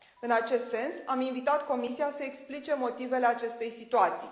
În acest sens, am invitat Comisia să explice motivele acestei situații.